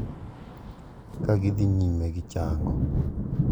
Ka gidhi nyime gi chango.